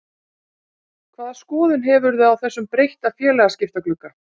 Hvaða skoðun hefurðu á þessum breytta félagaskiptaglugga?